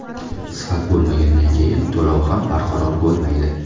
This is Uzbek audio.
Sifat bo‘lmagandan keyin to‘lov ham barqaror bo‘lmaydi.